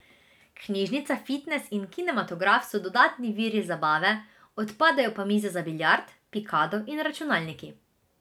Knjižnica, fitnes in kinematograf so dodatni viri zabave, odpadejo pa mize za biljard, pikado in računalniki.